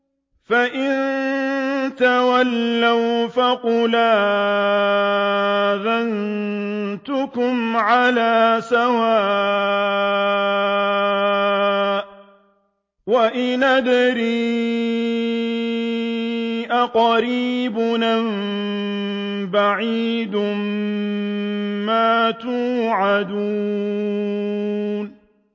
فَإِن تَوَلَّوْا فَقُلْ آذَنتُكُمْ عَلَىٰ سَوَاءٍ ۖ وَإِنْ أَدْرِي أَقَرِيبٌ أَم بَعِيدٌ مَّا تُوعَدُونَ